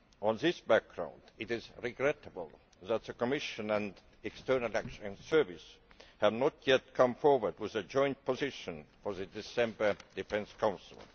Against this background, it is regrettable that the Commission and the External Action Service have not yet come forward with a joint position for the December Defence Council.